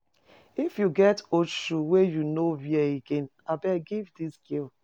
If you get old shoes wey you no wear again, abeg give dis girl.